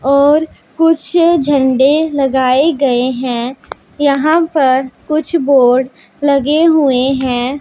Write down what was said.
और कुछ झंडे लगाए गए हैं यहां पर कुछ बोर्ड लगे हुए हैं।